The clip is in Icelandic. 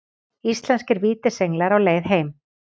Íslenskir vítisenglar á leið heim